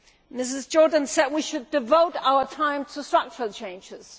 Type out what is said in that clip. Ms Jordan said we should devote our time to structural changes.